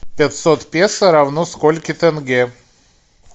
пятьсот песо равно сколько тенге